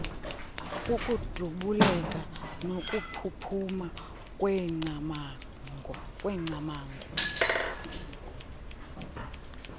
kukudubuleka nokuphuphuma kweengcamango